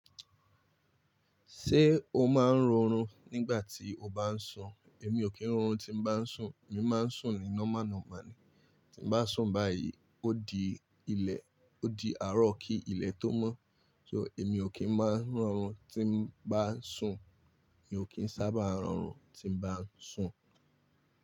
Ṣé o máa ń rorun nígbà tí o bá ń sùn? Èmi ò kí ń rọrùn tí n bá ń sùn. Èmi máa ń sùn ni normal normal ni. Tí n bá sùn báyìí ó di ilẹ̀, ó di àárọ̀ kí ilẹ̀ tó mọ́. So èmi ò kí ń maá ń rọrùn tí n bá ń sùn. Èmi ò kí ń sábà rọrùn tí n bá ń sùn.